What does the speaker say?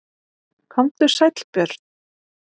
Komdu sæll Björn.